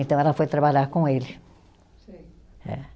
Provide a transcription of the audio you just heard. Então ela foi trabalhar com ele. Sei. É.